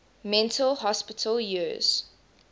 mental hospital years